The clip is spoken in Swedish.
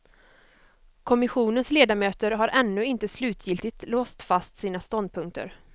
Kommissionens ledamöter har ännu inte slutgiltigt låst fast sina ståndpunkter.